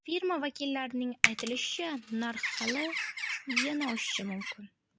Firma vakillarning aytishicha, narx hali yana oshishi mumkin!